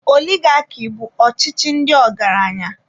Oligaki bụ ọchịchị ndị ọgaranya.